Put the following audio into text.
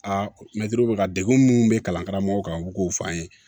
Aa mɛtiriw bɛ ka degun minnu bɛ kalan karamɔgɔ kan u k'o fɔ an ye